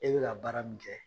E bɛ ka baara min kɛ.